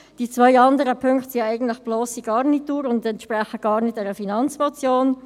Die zwei anderen Punkte sind ja eigentlich nur blosse Garnitur und entsprechen gar nicht einer Finanzmotion.